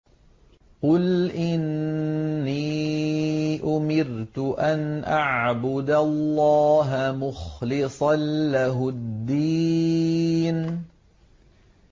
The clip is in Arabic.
قُلْ إِنِّي أُمِرْتُ أَنْ أَعْبُدَ اللَّهَ مُخْلِصًا لَّهُ الدِّينَ